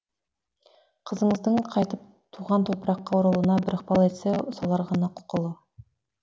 қызыңыздың қайтып туған топыраққа оралуына бір ықпал етсе солар ғана құқылы